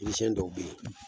Yiri siɲɛn dɔw bɛ yen